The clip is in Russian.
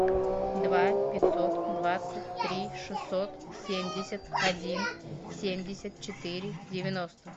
два пятьсот двадцать три шестьсот семьдесят один семьдесят четыре девяносто